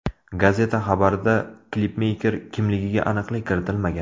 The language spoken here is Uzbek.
Gazeta xabarida klipmeyker kimligiga aniqlik kiritilmagan.